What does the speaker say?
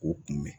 K'o kunbɛn